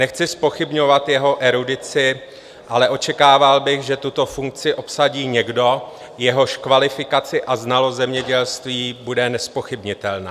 Nechci zpochybňovat jeho erudici, ale očekával bych, že tuto funkci obsadí někdo, jehož kvalifikaci a znalost zemědělství bude nezpochybnitelná.